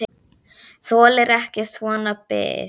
Þoli ekki svona bið.